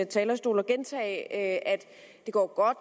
talerstol og gentage at det går godt